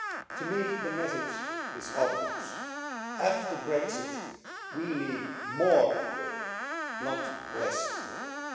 To me the message is obvious after Brexit we need more Europe, not less Europe.